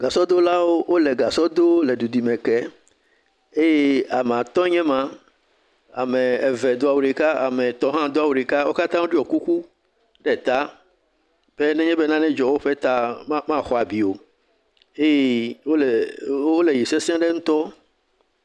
Gasɔdolawo wole gasɔ dom le dudime kem eye ame atɔ̃ ye nye ema, ame eve do awu ɖeka ame etɔ̃ hã do awu ɖeka eye wo katã ɖiɔ kuku ɖe ta be nenye be nane dzɔ la, womaxɔ abi o eye wole yiyim sesie ɖe ŋutɔ.